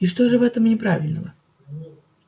и что же в этом неправильного